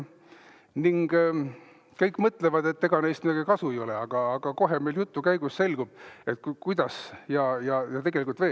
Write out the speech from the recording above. Kõik mõtlevad, et ega neist midagi kasu ei ole, aga kohe meile jutu käigus selgub, kuidas tegelikult on.